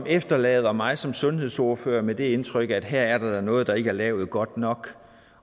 efterlader mig som sundhedsordfører med det indtryk at her er der da noget der ikke er lavet godt nok